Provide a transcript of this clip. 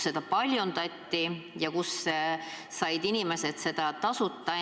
Seda paljundati ja inimesed said seda tasuta.